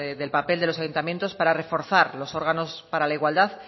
del papel de los ayuntamientos para reforzar los órganos para la igualdad